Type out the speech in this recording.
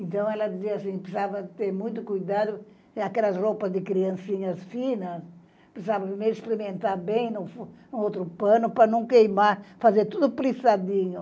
Então, ela dizia assim, precisava ter muito cuidado, aquelas roupas de criancinhas finas, precisava primeiro experimentar bem no outro pano para não queimar, fazer tudo preçadinho.